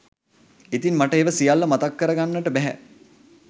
ඉතින් මට ඒවා සියල්ල මතක් කරගන්නට බැහැ